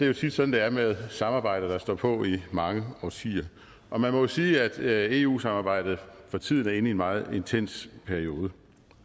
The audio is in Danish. jo tit sådan det er med samarbejder der står på i mange årtier og man må jo sige at eu samarbejdet for tiden er inde i en meget intens periode